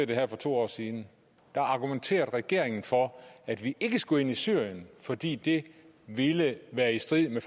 det her for to år siden argumenterede regeringen for at vi ikke skulle ind i syrien fordi det ville være i strid med